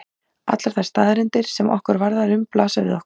Allar þær staðreyndir sem okkur varðar um blasa við okkur.